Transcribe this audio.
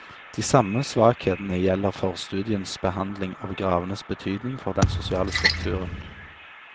De samme svakhetene gjelder forstudiens behandling av gravenes betydning for den sosiale strukturen.